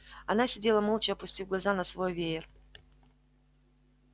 она сидела молча опустив глаза на свой веер